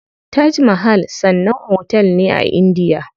Taj mahal sannan otel ne a indiya.